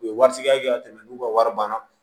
U ye wari suguya kɛ ka tɛmɛ n'u ka wari banna